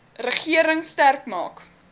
regering sterk maak